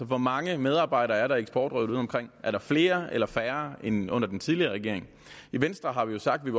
hvor mange medarbejdere er der i eksportrådet udeomkring er der flere eller færre end under den tidligere regering i venstre har vi jo sagt at